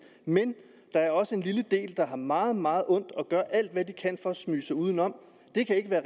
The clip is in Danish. men der er også en lille del der har meget meget ondt og gør alt hvad de kan for at smyge sig udenom det kan ikke være